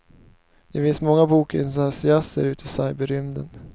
Det finns många bokentusiaster i cyberrymden.